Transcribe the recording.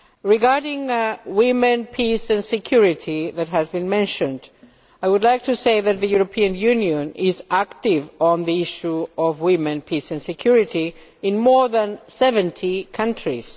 Regarding women, peace and security, which has been mentioned, I would like to say that the European Union is active on the issue of women, peace and security in more than 70 countries.